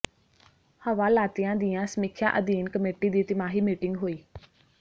ਹਵਾਲਾਤੀਆਂ ਦੀਆਂ ਸਮੀਖਿਆ ਅਧੀਨ ਕਮੇਟੀ ਦੀ ਤਿਮਾਹੀ ਮੀਟਿੰਗ ਹੋਈ